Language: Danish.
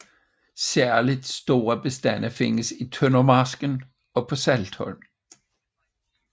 Særligt store bestande findes i Tøndermarsken og på Saltholm